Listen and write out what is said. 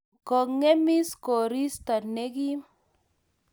Kongemis koristo ne kim